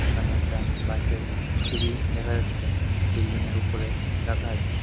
এখানে একটা বাঁশের সিঁড়ি দেখা যাচ্ছে বিল্ডিংয়ের উপরে রাখা আছে।